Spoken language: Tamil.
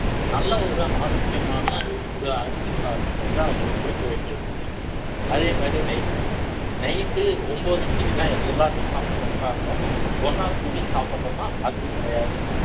நல்ல ஒரு ஆரோக்கியமான அரிசி சாதம் கொடுக்க வேண்டியது night ஒன்பது மணிக்கு தான் எல்லாரும் சாப்பிட உட்காருவோம் ஒண்ணா கூடி சாப்பிடுவோமா அதுவும் கிடையாது